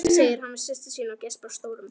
segir hann við systur sína og geispar stórum.